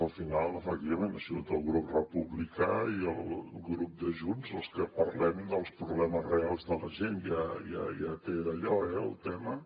al final efectivament ha sigut el grup republicà i el grup de junts els que parlem dels problemes reals de la gent ja té d’allò el tema